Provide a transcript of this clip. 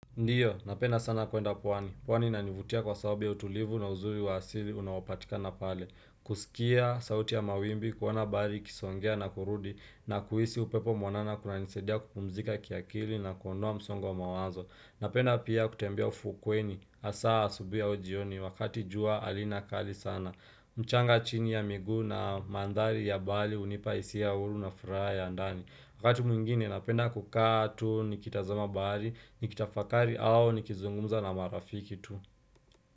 Ndio, napenda sana kuenda pwani. Pwani nanivutia kwa sababu ya utulivu na uzuri wa asili unaopatika na pale. Kusikia, sauti ya mawimbi, kuona bali, kisongea na kurudi, na kuisi upepo mwanana kuna nisaidia kupumzika kiakili na kundoa msongo wa mawazo. Napenda pia kutembea ufukweni, asaa asubui aujioni, wakati jua alina kali sana. Mchanga chini ya miguu na mandhali ya bali unipa isia hulu na furaa ya ndani. Wakati mwingine napenda kukaa tu, nikitazama baari, nikitafakari au nikizungumza na marafiki tu.